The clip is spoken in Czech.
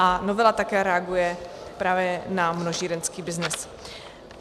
A novela také reaguje právě na množírenský byznys.